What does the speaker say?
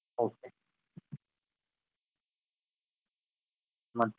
Okay ಮತ್ತೆ.